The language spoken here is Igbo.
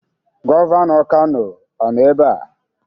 Gọvanọ Kano ọ nọ ebe a?